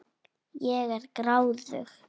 Ég er gráðug.